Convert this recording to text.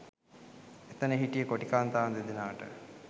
එතන හිටිය කොටි කාන්තාවන් දෙදෙනාට